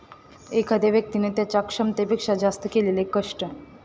एखाद्या व्यक्तिने त्यांच्या क्षमतेपेक्षा जास्त केलेले कष्ट.